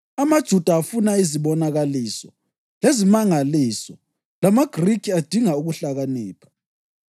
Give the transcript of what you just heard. AmaJuda afuna izibonakaliso lezimangaliso lamaGrikhi adinga ukuhlakanipha,